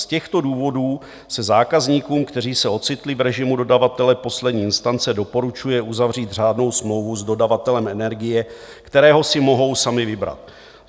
Z těchto důvodů se zákazníkům, kteří se ocitli v režimu dodavatele poslední instance, doporučuje uzavřít řádnou smlouvu s dodavatelem energie, kterého si mohou sami vybrat.